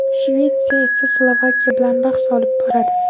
Shvetsiya esa Slovakiya bilan bahs olib boradi.